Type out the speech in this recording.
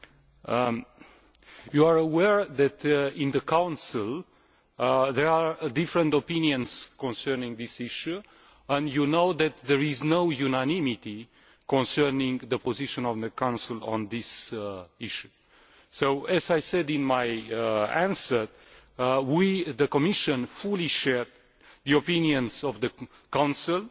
You are aware that in the Council, there are different opinions concerning this issue and you know that there is no unanimity concerning the position of the Council on this issue. So, as I said in my answer we, the Commission, fully share the opinions of the Council and I